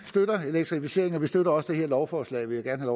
støtter elektrificeringen og vi støtter også det her lovforslag vil jeg gerne